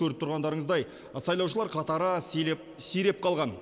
көріп тұрғандарыңыздай сайлаушылар қатары сиреп қалған